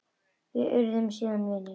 Við urðum síðan vinir.